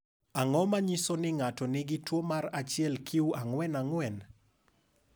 Ang’o ma nyiso ni ng’ato nigi tuwo mar 1q44?